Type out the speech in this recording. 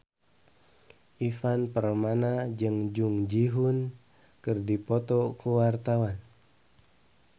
Ivan Permana jeung Jung Ji Hoon keur dipoto ku wartawan